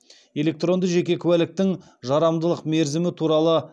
электронды жеке куәліктің